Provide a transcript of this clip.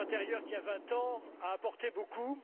Le marché intérieur, qui a vingt ans, a apporté beaucoup.